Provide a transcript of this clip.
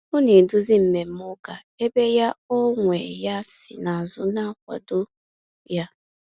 Ọ na eduzi mmemme ụka, ebe ya ọ nwe ya si na azụ na-akwado ya